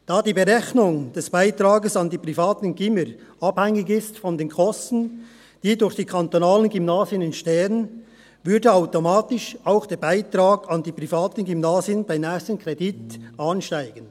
Da die Berechnung des Beitrags an die privaten Gymnasien von den Kosten abhängig ist, die durch die kantonalen Gymnasien entstehen, würde automatisch auch der Beitrag an die privaten Gymnasien beim nächsten Kredit ansteigen.